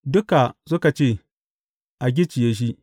Duka suka ce, A gicciye shi!